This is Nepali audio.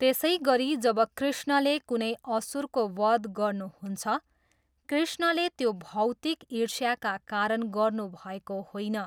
त्यसैगरी जब कृष्णले कुनै असुरको वध गर्नुहुन्छ, कृष्णले त्यो भौतिक ईष्र्याका कारण गर्नुभएको होइन।